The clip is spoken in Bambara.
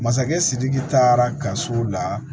Masakɛ sidiki taara gafew la